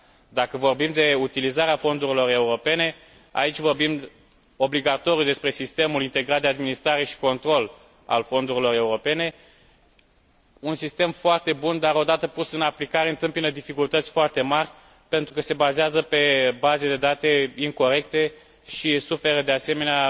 Dacă vorbim de utilizarea fondurilor europene, aici vorbim obligatoriu despre Sistemul integrat de administrare și control al fondurilor europene, un sistem foarte bun dar care, odată pus în aplicare, întâmpină dificultăți foarte mari, pentru că se bazează pe baze de date incorecte și suferă, de asemenea,